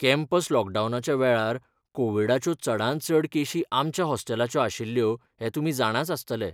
Campus लॉकडावनाच्या वेळार कोविडाच्यो चडांत चड केशी आमच्या हॉस्टेलाच्यो आशिल्ल्यो हें तुमी जाणाच आसतले .